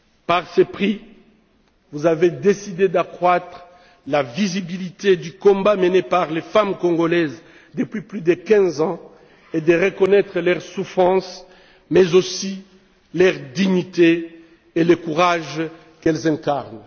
Par ce prix, vous avez décidé d'accroître la visibilité du combat mené par les femmes congolaises depuis plus de 15 ans et de reconnaître leur souffrance, mais aussi leur dignité et le courage qu'elles incarnent.